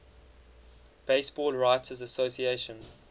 baseball writers association